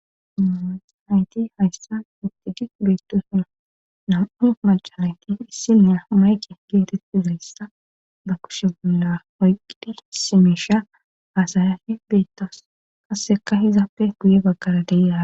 Hayti hayssa ittiji beettosin nam'u macalayti issina mayki geeteti zeyssa ba kushe bolla oyqqidhi simisha haasayafi beettos kasseka hizappe guye baggara deyya.